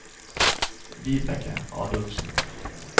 Vibeke Adolfsen